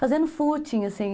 Fazendo footing, assim.